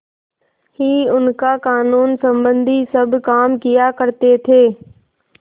ही उनका कानूनसम्बन्धी सब काम किया करते थे